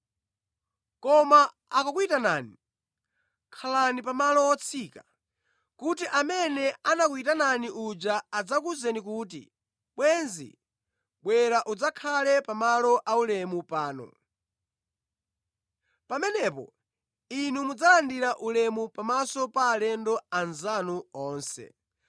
Koma akakuyitanani, khalani pa malo otsika, kuti amene anakuyitanani uja adzakuwuzeni kuti, ‘Bwenzi, bwera udzakhale pa malo aulemu pano.’ Pamenepo inu mudzalandira ulemu pamaso pa alendo anzanu onse.